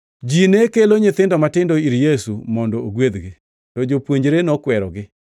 Ji ne kelo nyithindo matindo ir Yesu mondo ogwedhgi, to jopuonjre nokwerogi.